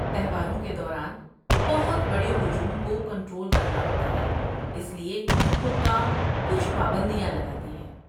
تہواروں کے دوران، بہت بڑے ہجوم کو کنٹرول کرنا ہوتا ہے، اسی لیے حکام کچھ پابندیاں لگاتے ہیں۔